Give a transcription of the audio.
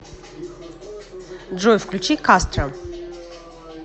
джой включи кастром